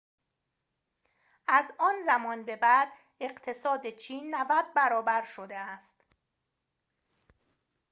از آن زمان به بعد اقتصاد چین ۹۰ برابر شده است